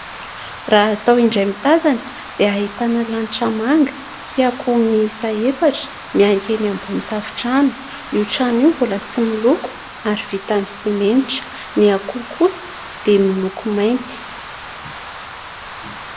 Raha atao indray mitazana, dia ahitana lanitra manga sy akoho miisa efatra mianika eny ambony tafontrano. Io trano io mbola tsy miloko, ary vita amin'ny simenitra. Ny akoho kosa dia miloko mainty.